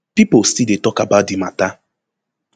pipo still dey tok about di mata